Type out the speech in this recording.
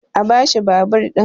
a bashi babur ɗin!